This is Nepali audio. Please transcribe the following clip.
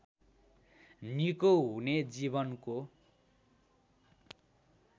निको हुने जीवनको